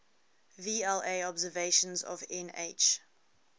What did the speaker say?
vla observations of nh